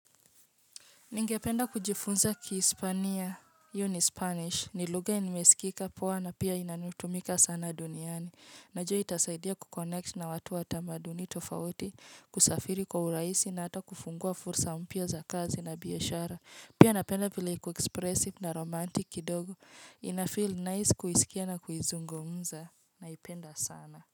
Ningependa kujifunza kispania, hiyo ni spanish, ni lugha yenye imesikika poa na pia inanutumika sana duniani. Najua itasaidia kuconnect na watu wa tamaduni tofauti, kusafiri kwa urahisi na hata kufungua fursa mpya za kazi na biashara. Pia napenda vile iko expressive na romantic kidogo. Inafeel nice kuisikia na kuizungumza naipenda sana.